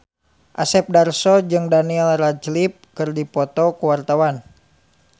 Asep Darso jeung Daniel Radcliffe keur dipoto ku wartawan